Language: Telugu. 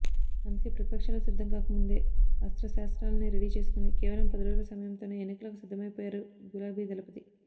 అందుకే ప్రతిపక్షాలు సిద్ధం కాకముందే అస్త్రశస్త్రాలన్నీ రెడీ చేసుకుని కేవలం పదిరోజుల సమయంతోనే ఎన్నికలకు సిద్దమైపోయరు గులాబీదళపతి